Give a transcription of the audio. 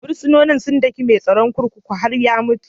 Fursunonin sun duka mai tsaron kurkukun har ya mutu.